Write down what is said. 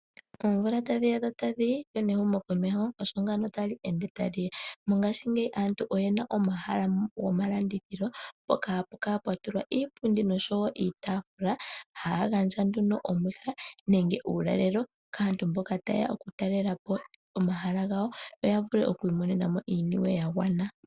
Oomvula otadhi ya dho otadhi yi oshowo ehumokomeho tali ende ta liya mongaashingeyi aantu oye na omahala gomalandithilo mpoka hapu kala pwa tulwa iipundi niitafula haya gandja nduno omwiha nenge uulalelo kaantu mboka ta yeya okutalelapo omahala gawo yo ya vule okwiimonenamo iiyemo ya gwana.